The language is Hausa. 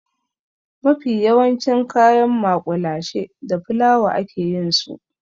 Mafi yawancin kayan maƙulashe da fulawa a ke yin su.